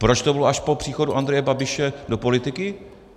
Proč to bylo až po příchodu Andreje Babiše do politiky?